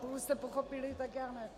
Pokud jste pochopili, tak já ne.